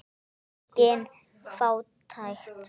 Engin fátækt.